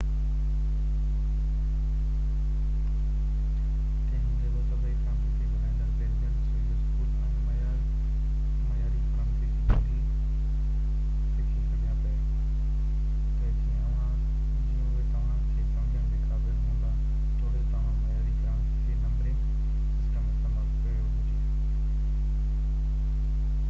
تنهن هوندي بہ سڀئي فرانسيسي ڳالهائيندڙ بيلجين ۽ سوئس اسڪول ۾ معياري فرانسيسي ٻولي سکي سگهيا پي تہ جيئن اهي توهان کي سمجهڻ جي قابل هوندا توڙي توهان معياري فرانسيسي نمبرنگ سسٽم استعمال ڪيو هجي